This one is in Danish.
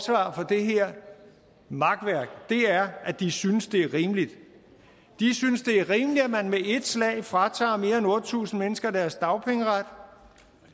det her makværk er at de synes det er rimeligt de synes det er rimeligt at man med ét slag fratager mere end otte tusind mennesker deres dagpengeret